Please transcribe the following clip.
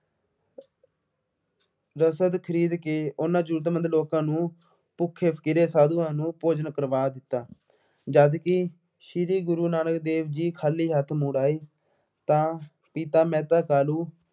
ਰਸਦ ਖਰੀਦ ਕੇ ਉਹਨਾ ਜ਼ਰੂਰਤਮੰਦ ਲੋਕਾਂ ਨੂੰ, ਭੁੱਖੇ-ਫਕੀਰੇ ਸਾਧੂਆਂ ਨੂੰ ਭੋਜਨ ਕਰਵਾ ਦਿੱਤਾ। ਜਦਕਿ ਸ਼੍ਰੀ ਗੁਰੂ ਨਾਨਕ ਦੇਵ ਜੀ ਖਾਲੀ ਹੱਥ ਮੁੜ ਆਏ ਤਾਂ ਪਿਤਾ ਮਹਿਤਾ ਕਾਲੂ